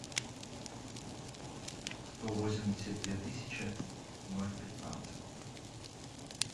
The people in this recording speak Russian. сто восемьдесят две тысячи ноль пятнадцать